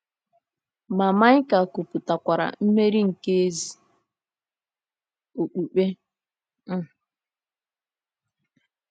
Ma Maịka kwupụtakwara mmeri nke ezi okpukpe. um